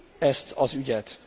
ezt az ügyet.